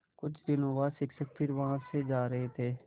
कुछ दिनों बाद शिक्षक फिर वहाँ से जा रहे थे